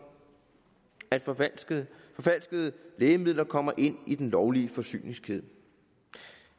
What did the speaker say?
at forfalskede lægemidler kommer ind i den lovlige forsyningskæde